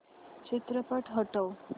चित्रपट हटव